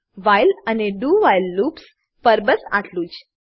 while અને do while loops પર બસ આટલું જ